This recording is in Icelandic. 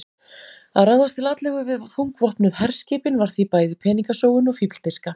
Að ráðast til atlögu við þungvopnuð herskipin var því bæði peningasóun og fífldirfska.